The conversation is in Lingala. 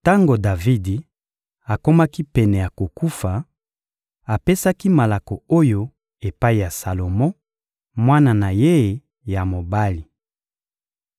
Tango Davidi akomaki pene ya kokufa, apesaki malako oyo epai ya Salomo, mwana na ye ya mobali: